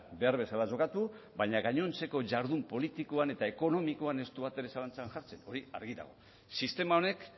behar bezala jokatu baina gainontzeko jardun politikoan eta ekonomikoan ez du batere zalantzan jartzen hori argi dago sistema honek